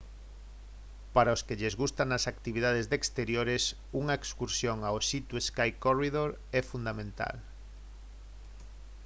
para os que lles gustan as actividades de exteriores unha excursión ao sea to sky corridor é fundamental